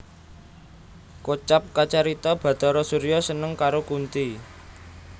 Kocap kacarita Bhatara Surya seneng karo Kunthi